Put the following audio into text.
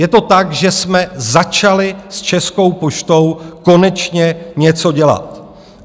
Je to tak, že jsme začali s Českou poštou konečně něco dělat.